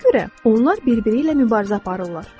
Mənə görə onlar bir-biri ilə mübarizə aparırlar.